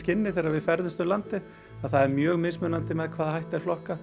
þegar við ferðumst um landið að það er mjög mismunandi með hvaða hætti er flokkað